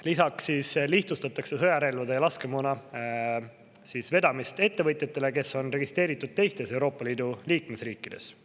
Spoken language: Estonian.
Lisaks lihtsustatakse sõjarelvade ja laskemoona vedamist ettevõtjatele, kes on registreeritud teistes Euroopa Liidu liikmesriikides.